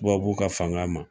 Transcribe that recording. Tubabu ka fanga ma,